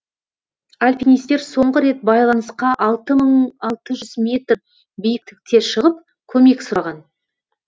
альпинистер соңғы рет байланысқа алты мың алты жүз метр биіктікте шығып көмек сұраған